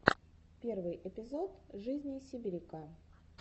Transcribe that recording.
первый эпизод жизни сибиряка